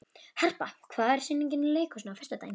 Harpa, hvaða sýningar eru í leikhúsinu á föstudaginn?